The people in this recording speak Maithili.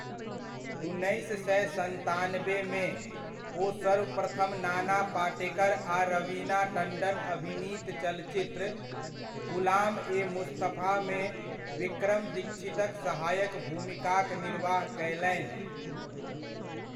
उन्नैस सए सन्तानबेमे, ओ सर्वप्रथम नाना पाटेकर आ रवीना टण्डन अभिनीत चलचित्र, ग़ुलाम ए मुस्तफामे विक्रम दीक्षितक सहायक भूमिकाक निर्वाह कयलनि।